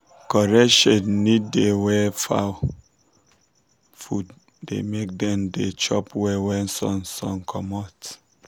correct shade need da wer fowl food da make dem da chop well when sun sun comot